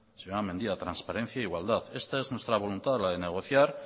señora mendia transparencia e igualdad esta es nuestra voluntad la de negociar